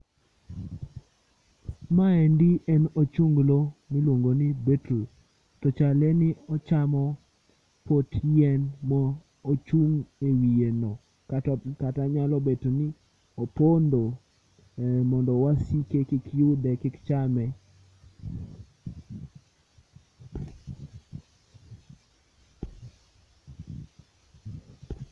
Ma e ndi en ochunglo ma iluongo ni bittle to chalo ni ochamo pot yien ma ochung e wiye no kata nyalo bet ni opondo mondo wasike kik yude, kik chame.